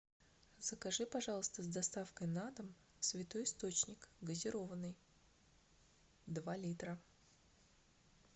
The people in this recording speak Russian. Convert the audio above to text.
закажи пожалуйста с доставкой на дом святой источник газированный два литра